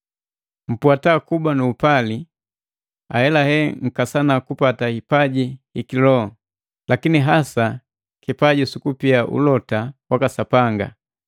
Mpwata kuba nu upali, ahelahe nkasana kupata hipaji hiki loho, lakini hasa kipaji sukupia ulota waka Sapanga.